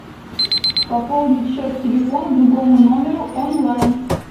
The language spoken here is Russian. пополнить счет телефона другому номеру онлайн